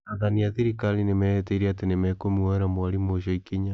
Athani a thirikari nĩ meehĩtire atĩ nĩ mekũmwoera mwarimũ ũcio ikinya.